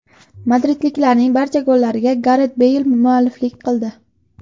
Madridliklarning barcha gollariga Garet Beyl mualliflik qildi.